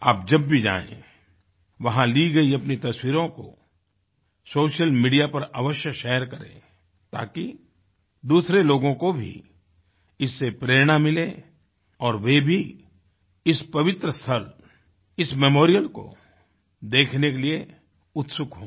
आप जब भी जाएँ वहाँ ली गयी अपनी तस्वीरों को सोशल मीडिया पर अवश्य शेयर करें ताकि दूसरें लोगों को भी इससे प्रेरणा मिले और वे भी इस पवित्र स्थल इस मेमोरियल को देखने के लिए उत्सुक हों